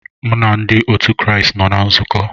M na ndị otu Kraịst nọ na nzukọ